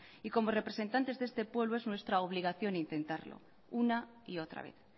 y como representantes de este pueblo es nuestra obligación intentarlo una y otra vez